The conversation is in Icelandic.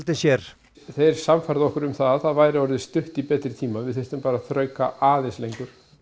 sér þeir sannfærðu okkur um það væri orðið stutt í betri tíma við þyrftum bara að þrauka aðeins lengur